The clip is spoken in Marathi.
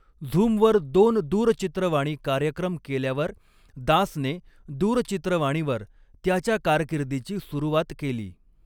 झूमवर दोन दूरचित्रवाणी कार्यक्रम केल्यावर दासने दूरचित्रवाणीवर त्याच्या कारकीर्दीची सुरुवात केली.